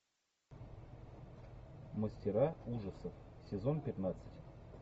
мастера ужасов сезон пятнадцать